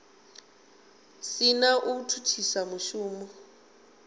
si na u thithisa mushumo